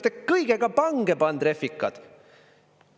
Te olete kõigega pange pand, refikad!